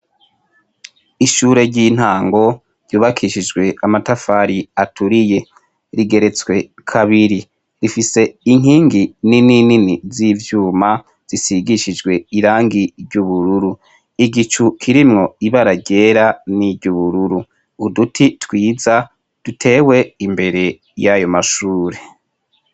Ishure ry'intango ryubakishijwe amatafari aturiye rigeretwe kabiri rifise inkingi nini nini z'ivyuma zisigishijwe irangi ry'ubururu , igicu kirimwo ibara ryera n'iryubururu, uduti twiza dutewe imbere y'ayo mashure.